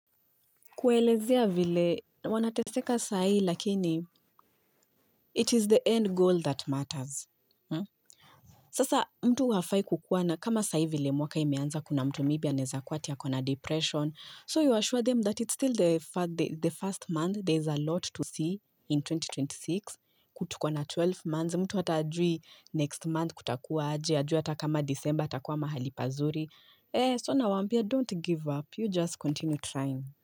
Kuelezea vile, wanateseka saa hii lakini it is the end goal that matters Sasa mtu hafai kukuwa na, kama saa hii vile mwaka imeanza kuna mtu maybe anaeza kuwa ati ako na depression. So you assure them that it's still the first month, there's alot to see in 2026. Tuko na 12 months. Mtu hata hajui next month kutakuwa aje. Hajui hata kama December atakuwa mahali pazuri So nawaambia, don't give up, you just continue trying.